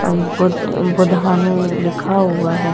बुधानु लिखा हुआ है।